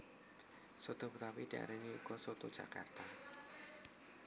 Soto betawi diarani uga soto jakarta